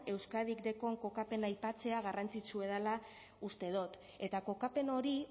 euskadik deukon kokapena aipatzea garrantzitsua dela uste dot eta kokapen hori